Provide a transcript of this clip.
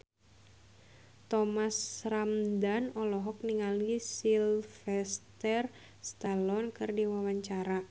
Thomas Ramdhan olohok ningali Sylvester Stallone keur diwawancara